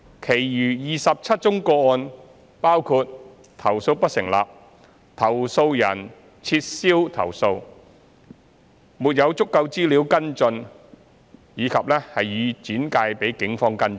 其餘27宗個案包括投訴不成立、投訴人撤銷投訴、沒有足夠資料跟進或已轉介警方跟進。